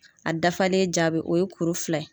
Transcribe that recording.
A dafalen jaabi o ye kuru fila ye.